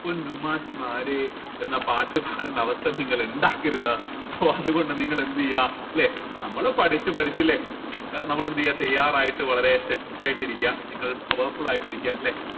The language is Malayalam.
പൊന്നു മാഷ് മാരെ എന്ന പാട്ട് പാടണ്ട അവസ്ഥ നിങ്ങൾ ഇണ്ടാക്കരുത് so അത്കൊണ്ട് നിങ്ങൾ എന്ത് ചെയ്യാ നമ്മൾ പഠിച്ച് പഠിച്ച് ല്ലെ നമ്മൾ തയ്യാറായിട്ട് വളരെ set ആയിട്ടിരിക്ക നിങ്ങൾ powerful ആയിട്ടിരിക്ക ല്ലെ